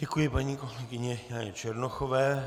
Děkuji paní kolegyni Janě Černochové.